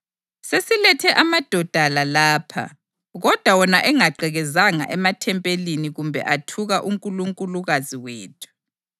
Selilethe amadoda la lapha, kodwa wona engagqekezanga emathempelini kumbe athuka unkulunkulukazi wethu.